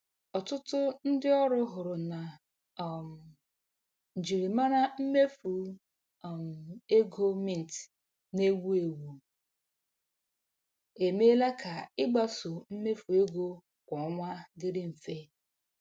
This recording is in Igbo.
Ọtụtụ ndị ọrụ hụrụ na um njirimara mmefu um ego Mint na-ewu ewu emeela ka ịgbaso mmefu ego kwa ọnwa dịrị mfe.